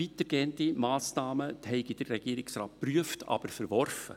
weitergehende Massnahmen habe der Regierungsrat geprüft, aber verworfen.